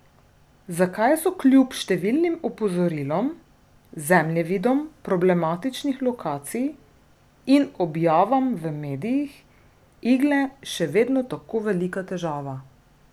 Zakaj so kljub številnim opozorilom, zemljevidom problematičnih lokacij in objavam v medijih igle še vedno tako velika težava?